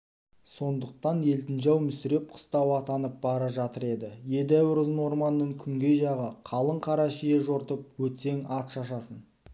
сондықтан елтінжал мүсіреп қыстауы атанып бара жатыр еді едәуір ұзын орманның күнгей жағы қалың қара шие жортып өтсең ат шашасын